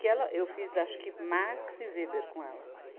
Que ela, eu fiz acho que Marx e Weber com ela.